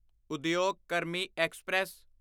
ਉਦਯੋਗ ਕਰਮੀ ਐਕਸਪ੍ਰੈਸ